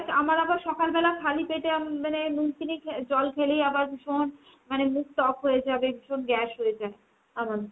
আমার আবার সকালবেলা খালি পেটে মানে নুন চিনি জল খেলেই আবার মানে মুখ টক হয়ে যাবে মানে ভীষণ gas হয়ে যায় আমার।